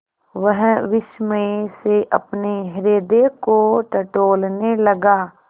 वह विस्मय से अपने हृदय को टटोलने लगा